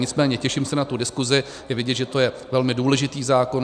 Nicméně těším se na tu diskuzi, je vidět, že je to velmi důležitý zákon.